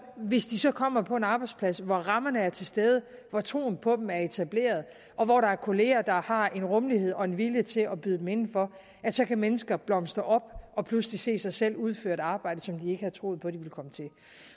hvis de så kommer på en arbejdsplads hvor rammerne er til stede hvor troen på dem er etableret og hvor der er kolleger der har en rummelighed og en vilje til at byde dem indenfor så kan mennesker blomstre op og pludselig se sig selv udføre et arbejde som de ikke havde troet på de kom til at